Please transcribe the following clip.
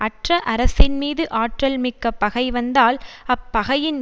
அற்ற அரசின்மீது ஆற்றல் மிக்க பகை வந்தால் அப்பகையின்